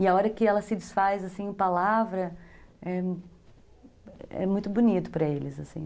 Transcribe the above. E a hora que ela se desfaz, assim, em palavra, é é muito bonito para eles, assim.